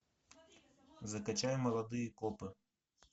закачай молодые копы